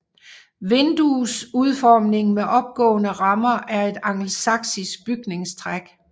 Vinduesudformningen med opgående rammer er et angelsaksisk bygningstræk